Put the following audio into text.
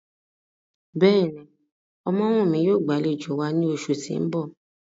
Bẹ́ẹ̀ni, Omowumi yóò gbalejo wa ni oṣu ti n bọ.